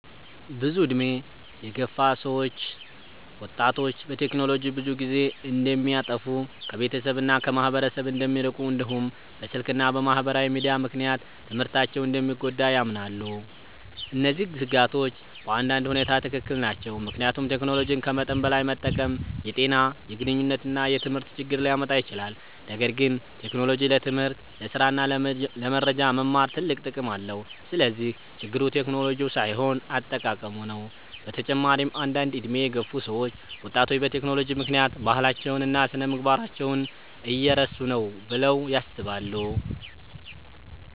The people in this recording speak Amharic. ብዙ ዕድሜ የገፉ ሰዎች ወጣቶች በቴክኖሎጂ ብዙ ጊዜ እንደሚያጠፉ፣ ከቤተሰብ እና ከማህበረሰብ እንደሚርቁ፣ እንዲሁም በስልክ እና በማህበራዊ ሚዲያ ምክንያት ትምህርታቸው እንደሚጎዳ ያምናሉ። እነዚህ ስጋቶች በአንዳንድ ሁኔታ ትክክል ናቸው፣ ምክንያቱም ቴክኖሎጂን ከመጠን በላይ መጠቀም የጤና፣ የግንኙነት እና የትምህርት ችግር ሊያመጣ ይችላል። ነገር ግን ቴክኖሎጂ ለትምህርት፣ ለስራ እና ለመረጃ መማር ትልቅ ጥቅም አለው። ስለዚህ ችግሩ ቴክኖሎጂው ሳይሆን አጠቃቀሙ ነው። በተጨማሪም አንዳንድ ዕድሜ የገፉ ሰዎች ወጣቶች በቴክኖሎጂ ምክንያት ባህላቸውን እና ስነ-ምግባራቸውን እየረሱ ነው ብለው ያስባሉ።